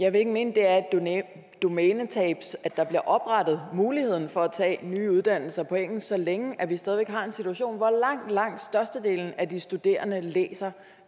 jeg vil ikke mene det er et domænetab at der bliver oprettet muligheden for at tage nye uddannelser på engelsk så længe vi stadig væk har en situation hvor langt langt størstedelen af de studerende læser